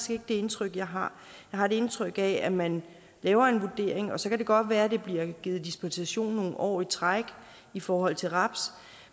det indtryk jeg har jeg har et indtryk af at man laver en vurdering og så kan det godt være at der bliver givet en dispensation nogle år i træk i forhold til raps